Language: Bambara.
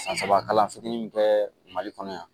San saba kalan fitinin bɛ kɛ mali kɔnɔ yan